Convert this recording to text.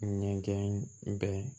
Ɲɛgɛn kɛ